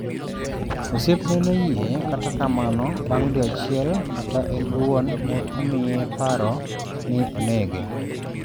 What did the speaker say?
Osiepne noyie, kata kamano, bang’ dwe achiel, kata en owuon ne omiye paro ni onege.